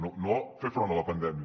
no per fer front a la pandèmia